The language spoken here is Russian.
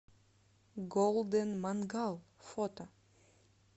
голден мангал фото